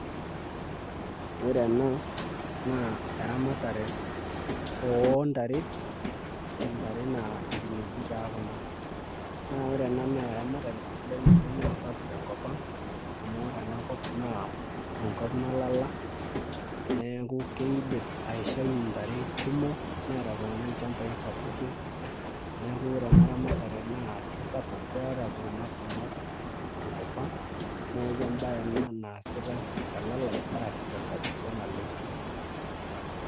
Ore ena naa eramatare oontare ntae naa nkinejik taa kuna naa ore ena naa eramatere sidai oleng' naa sapuk tenkop ang' amu ore ena kop naa enkop nalala neeku kiidim aishai ntare kumok neeta iltung'anak ilchambai sapukin neeku ore ena ramatare naa kesapuk keeta iltung'anak kumok tenkop ang' neeku embaye ena naasitai telalai ashu tesapuko naleng'.